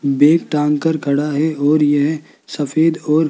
bag टांग कर खड़ा है और ये सफ़ेद और--